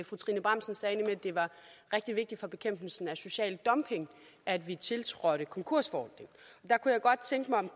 fru trine bramsen sagde nemlig at det var rigtig vigtigt for bekæmpelsen af social dumping at vi tiltrådte konkursforordningen jeg kunne godt tænke mig om